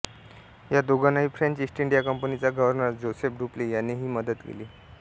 या दोघांनाही French East India कंपनीचा गव्हर्नर जोसेफ डुप्ले यानेही मदत केली